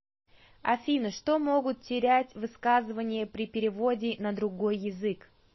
афина что могут терять высказывания при переводе на другой язык